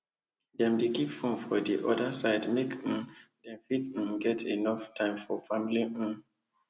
dem dey keep fone for d orda side make um dem fit um get enuff time for family um